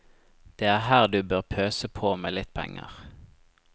Det er her du bør pøse på med litt penger.